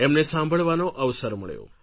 એમને સાંભળવાનો અવસર મળ્યો